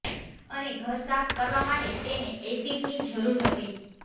અને ઘર સાફ કરવા માટે તેને એસીડની જરૂર હતી